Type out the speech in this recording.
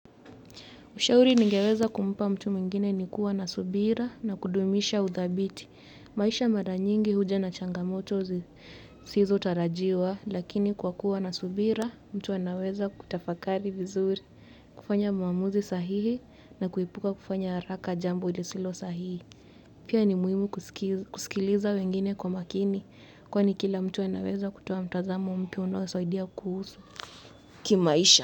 Ushauri ningeweza kumpa mtu mwingine ni kuwa na subira na kudumisha udhabiti. Maisha mara nyingi huja na changamoto zisizotarajiwa, lakini kwa kuwa na subira, mtu anaweza kutafakari vizuri, kufanya maamuzi sahihi na kuepuka kufanya haraka jambo lisilo sahihi. Pia ni muhimu kusikiliza wengine kwa makini, kwani kila mtu anaweza kutoa mtazamo mpya unaosoidia kuhusu kimaisha.